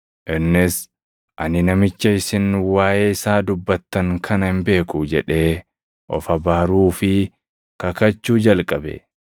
Innis, “Ani namicha isin waaʼee isaa dubbattan kana hin beeku” jedhee of abaaruu fi kakachuu jalqabe.